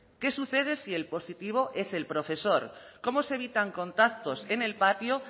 qué sucede si el positivo es el profesor cómo se evitan contactos en el patio